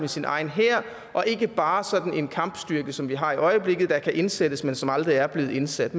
sin egen hær og ikke bare sådan en kampstyrke som vi har i øjeblikket der kan indsættes men som aldrig er blevet indsat